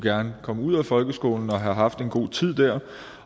komme ud af folkeskolen og have haft en god tid